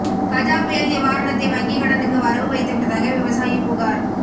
கஜா புயல் நிவாரணத்தை வங்கி கடனுக்கு வரவு வைத்துவிட்டதாக விவசாயி புகார்